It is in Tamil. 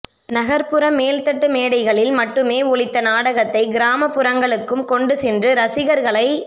நகர்புற மேல்தட்டு மேடைகளில் மட்டுமே ஒலித்த நாடகத்தை கிராமப்புறங்களுக்கும் கொண்டு சென்று ரசிகர்களை